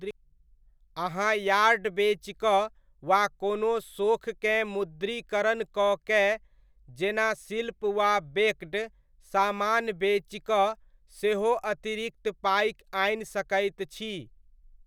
अहाँ यार्ड बेचिकऽ वा कोनो सोखकेँ मुद्रीकरण कऽ कए, जेना शिल्प वा बेक्ड समान बेचिकऽ सेहो अतिरिक्त पाइ आनि सकैत छी।